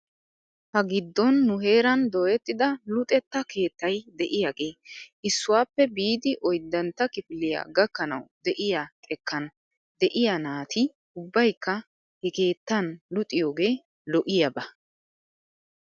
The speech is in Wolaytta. Ha giddon nu heeran dooyettida luxetta keettay de'iyaagee issuwaappe biidi oyddantta kifiliyaa gakkanaw de'iyaa xekkaan de'iyaa naati ubbaykka he keettan luxiyoogee lo'iyaaba.